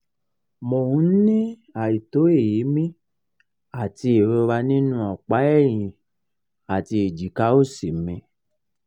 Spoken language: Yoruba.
mo n ni aito eemi ati ìrora nínú opa ẹ̀yìn àti ẹ̀jika òsì mi